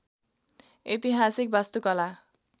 ऐतिहासिक वास्तुकला